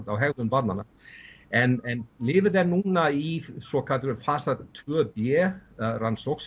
á hegðun barnanna en lyfið er núna í svokölluðum fasa tvö b rannsókn